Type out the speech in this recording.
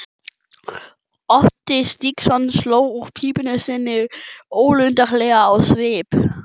Otti Stígsson sló úr pípu sinni ólundarlegur á svip.